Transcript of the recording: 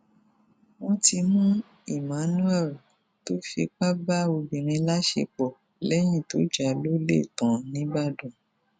wọn ti mú emmanuel tó fipá bá obìnrin láṣepọ lẹyìn tó já a lólè tán nìbàdàn